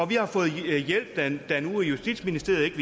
vi har fået hjælp da nu justitsministeriet ikke